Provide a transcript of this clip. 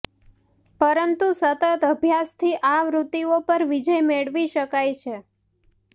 પરંતુ સતત અભ્યાસથી આ વૃત્તિઓ પર વિજય મેળવી શકાય છે